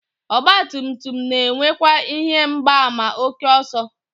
Ọgbatumtum na-enwekwa ihe mgbaàmà ókè ọsọ